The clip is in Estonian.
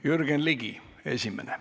Jürgen Ligi esimesena.